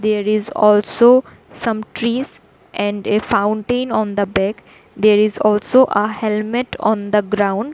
There is also some trees and a fountain on the back there is also a helmet on the ground.